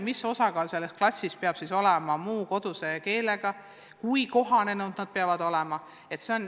Kui suur osakaal peab klassis olema muu koduse keelega õpilastel ja kui kohanenud nad peavad olema?